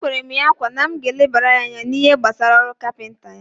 Ekwere m ya nkwa na m ga-elebara ya anya n'ihe gbasara ọrụ kapinta ya.